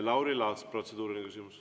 Lauri Laats, protseduuriline küsimus.